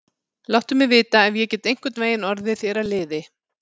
Láttu mig vita, ef ég get einhvern veginn orðið þér að liði.